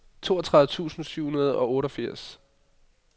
toogtredive tusind syv hundrede og otteogfirs